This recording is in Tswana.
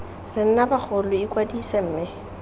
re nna bagolo ikwadise mme